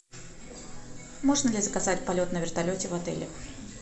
можно ли заказать полет на вертолете в отеле